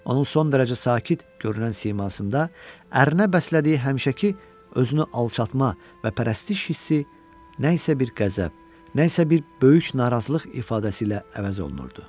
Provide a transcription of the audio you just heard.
Onun son dərəcə sakit görünən simasında ərinə bəslədiyi həmişəki özünü alçaltma və pərəstiş hissi nə isə bir qəzəb, nə isə bir böyük narazılıq ifadəsi ilə əvəz olunurdu.